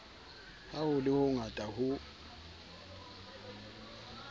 ha ho le hongata ho